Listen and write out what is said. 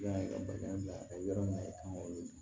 I y'a ye ka bagaji bila yɔrɔ min na i kan k'o di